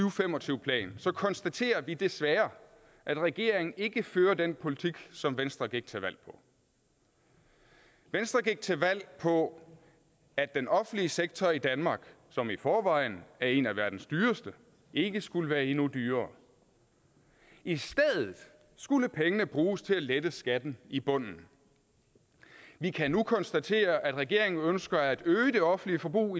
og fem og tyve plan konstaterer vi desværre at regeringen ikke fører den politik som venstre gik til valg på venstre gik til valg på at den offentlige sektor i danmark som i forvejen er en af verdens dyreste ikke skulle være endnu dyrere i stedet skulle pengene bruges til at lette skatten i bunden vi kan nu konstatere at regeringen ønsker at øge det offentlige forbrug